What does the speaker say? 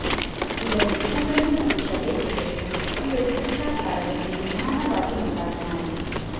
ಇದನ್ನು ಕೂದಲು ಮತ್ತು ತಲೆಬುರುಡೆಗೆ ಹಚ್ಚಿಕೊಂಡು ವೃತ್ತಾಕಾರದಲ್ಲಿ ನಿಧಾನವಾಗಿ ಮಸಾಜ್ ಮಾಡಿ